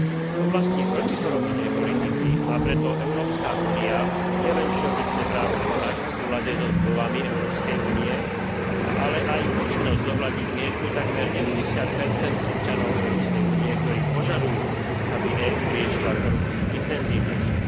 V oblasti protikorupčnej politiky má preto Európska únia nielen všeobecné právo konať v súlade so zmluvami Európskej únie, ale aj povinnosť zohľadniť mienku takmer 90 občanov Európskej únie, ktorí požadujú, aby EÚ riešila korupciu intenzívnejšie.